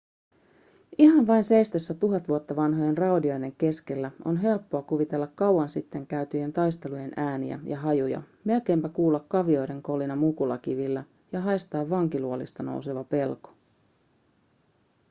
ihan vain seistessä tuhat vuotta vanhojen raunioiden keskellä on helppoa kuvitella kauan sitten käytyjen taistelujen ääniä ja hajuja melkeinpä kuulla kavioiden kolina mukulakivillä ja haistaa vankiluolista nouseva pelko